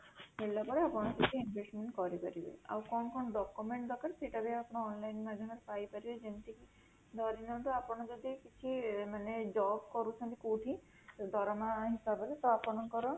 ହେଲା ପରେ ଆପଣ ସେଠି investment କରିପାରିବେ, ଆଉ କଣ କଣ document ଦରକାର ସେଇଟା ବି ଆପଣ online ମାଧ୍ୟମରେ ପାଇପାରିବେ, ଯେମିତିକି ଧରିନିୟନ୍ତୁ ଆପଣ ଯଦି କିଛି ମାନେ job କରୁଛନ୍ତି କୋଉଠି ଦରମା ହିସାବରେ ତା ଆପଣଙ୍କର